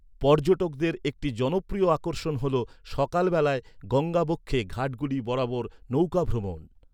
পর্যটকদের একটি জনপ্রিয় আকর্ষণ হল সকালবেলায় গঙ্গাবক্ষে ঘাটগুলি বরাবর নৌকাভ্রমণ।